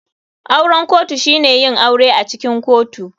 Auren kotu shine yin aure acikin kotu.